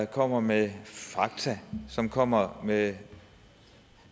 kommer med fakta som kommer med